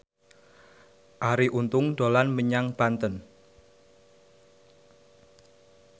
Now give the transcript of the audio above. Arie Untung dolan menyang Banten